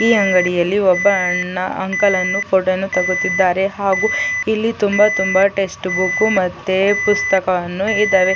ಈ ಅಂಗಡಿಯಲ್ಲಿ ಒಬ್ಬ ಅಣ್ಣ ಅಂಕಲ್ ಅನ್ನು ಫೋಟೋವನ್ನು ತೊಕೊತ್ತಿದ್ದಾರೆ ಹಾಗು ಇಲ್ಲಿ ತುಂಬಾ ತುಂಬಾ ಟೆಸ್ಟ್ ಮತ್ತೆ ಪುಸ್ತಕವನ್ನು ಇದಾವೆ.